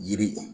Yiri